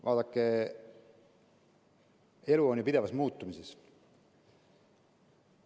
Vaadake, elu on ju pidevas muutumises.